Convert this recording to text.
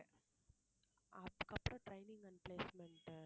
அதுக்கு அப்புறம் training and placement